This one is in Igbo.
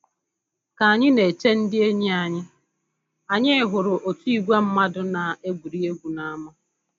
Ka anyị na-eche ndị enyi anyị, anyị hụrụ otu ìgwè ndị mmadụ na-egwuri egwu n'ámá